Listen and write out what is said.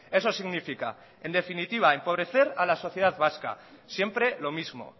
eso significa en definitiva empobrecer a la sociedad vasca siempre lo mismo